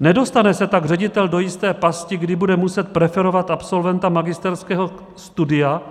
Nedostane se tak ředitel do jisté pasti, kdy bude muset preferovat absolventa magisterského studia,